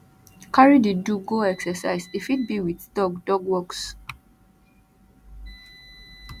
carry di do go exercise e fit be with dog dog walks